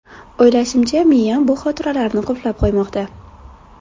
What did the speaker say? O‘ylashimcha, miyam bu xotiralarni qulflab qo‘ymoqda.